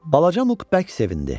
Balaca Muq bərk sevindi.